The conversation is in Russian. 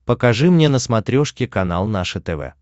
покажи мне на смотрешке канал наше тв